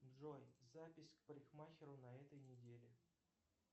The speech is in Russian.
джой запись к парикмахеру на этой неделе